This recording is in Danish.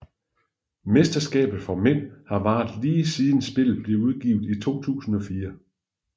Mesterskabet for mænd har varet lige siden spillet blev udgivet i 2004